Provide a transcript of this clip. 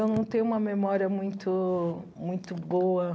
eu não tenho uma memória muito muito boa.